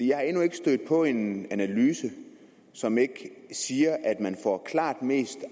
jeg er endnu ikke stødt på en analyse som ikke siger at man får klart mest